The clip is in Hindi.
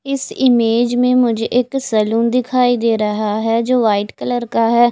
इस इमेज में मुझे एक सैलून दिखाई दे रहा है जो वाइट कलर का है।